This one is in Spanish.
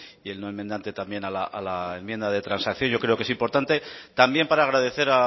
y el no enmendante también a la enmienda de transacción yo creo que es importante también para agradecer